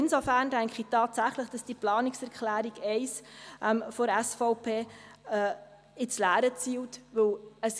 Insofern denke ich tatsächlich, dass die Planungserklärung 1 der SVP ins Leere zielt, weil: